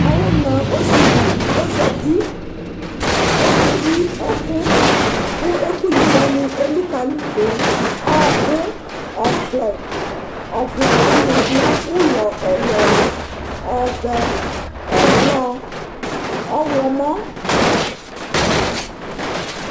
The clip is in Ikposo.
awòna osivi di ozati okeyi ɛkò kò ɛkòyi wani elikali do ɔkò ɔvlɛ ɔvlɛ wani lɛ ulɔ ɛlu ɛlu ɔvɛ ɛblɔ ɔwlɔmɔ